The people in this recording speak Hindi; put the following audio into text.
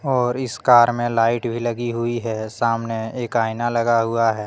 और इस कार में लाइट भी लगी हुई है सामने एक आईना लगा हुआ है।